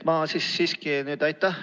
Aitäh!